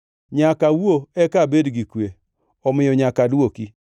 Nyaka awuo eka abed gi kwe; omiyo nyaka adwoki.